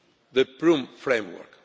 The Prüm framework.